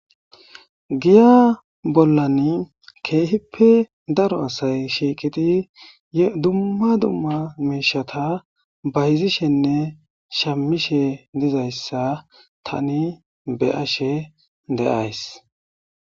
giya bollan keehippe daro asay shiiqidi dumma dumma miishata bayizishenne shamishe dizayssa tani be ashe deays